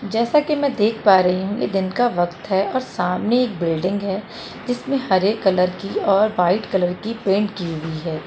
जैसा कि मैं देख पा रही हूँ कि दिन का वक्त है और सामने एक बिल्डिंग है इसमें हरे कलर की और वाइट कलर की पेंट की हुई है।